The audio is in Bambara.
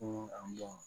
Ko a